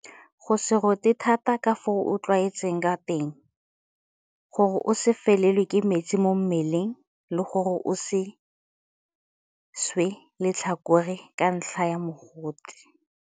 Go se rote thata ka fao o itlwaetseng ka teng. Gore o se felelwe ke metsi mo mmeleng le gore o se swe letlhakore ka ntlha ya mogote.